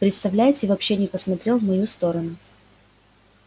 представляете вообще не посмотрел в мою сторону